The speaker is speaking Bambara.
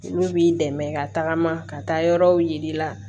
Olu b'i dɛmɛ ka tagama ka taa yɔrɔw yiri la